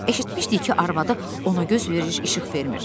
Eşitmişdik ki, arvadı ona göz verib işıq vermir.